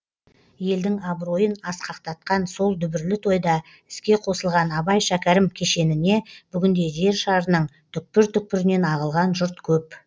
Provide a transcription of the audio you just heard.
елдің абыройын асқақтатқан сол дүбірлі тойда іске қосылған абай шәкәрім кешеніне бүгінде жер шарының түкпір түкпірінен ағылған жұрт көп